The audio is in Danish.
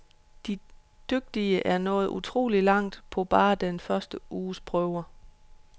De dygtige er nået utrolig langt på bare den første uges prøver.